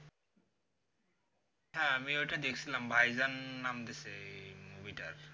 হ্যাঁ আমিও ওটা দেখছিলাম ভাইজান নামটা সেই movie টা আছে